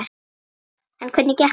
En hvernig gekk þar?